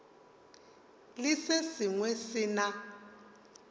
le se sengwe se na